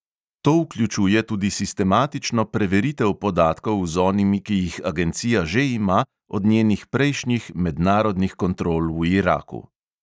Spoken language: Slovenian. To vključuje tudi sistematično preveritev podatkov z onimi, ki jih agencija že ima od njenih prejšnjih mednarodnih kontrol v iraku.